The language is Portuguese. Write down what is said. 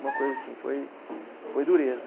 Uma coisa assim foi, foi dureza.